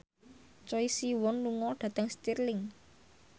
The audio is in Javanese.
Choi Siwon lunga dhateng Stirling